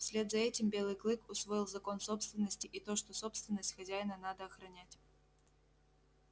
вслед за этим белый клык усвоил закон собственности и то что собственность хозяина надо охранять